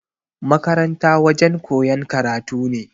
Makaranta wajen koyan karatu ne